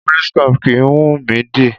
Police cap kìí wùnmí dì.